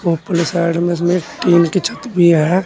ऊपर साइड में टीन की छत भी है।